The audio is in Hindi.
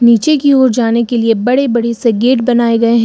पीछे की ओर जाने के लिए बड़े बड़े से गेट बनाए गए हैं।